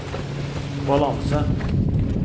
balanse